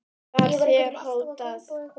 Var þér hótað?